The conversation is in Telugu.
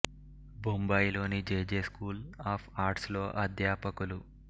బొంబాయిలోని J J school of arts లో అధ్యాపకులు